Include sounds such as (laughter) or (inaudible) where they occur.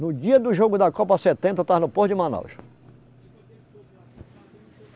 No dia do jogo da Copa setenta, eu estava no porto de Manaus. (unintelligible)